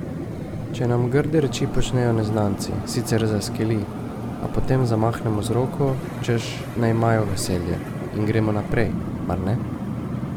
Če nam grde reči počnejo neznanci, sicer zaskeli, a potem zamahnemo z roko, češ naj imajo veselje, in gremo naprej, mar ne?